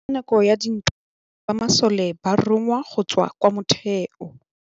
Ka nakô ya dintwa banna ba masole ba rongwa go tswa kwa mothêô.